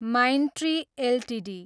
Mindtree Ltd